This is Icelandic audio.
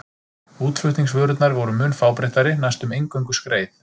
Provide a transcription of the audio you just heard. Útflutningsvörurnar voru mun fábreyttari, næstum eingöngu skreið.